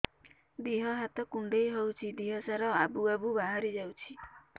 ଦିହ ହାତ କୁଣ୍ଡେଇ ହଉଛି ଦିହ ସାରା ଆବୁ ଆବୁ ବାହାରି ଯାଉଛି